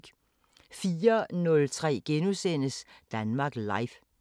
04:03: Danmark Live *